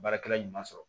Baarakɛla ɲuman sɔrɔ